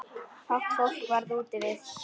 Fátt fólk var úti við.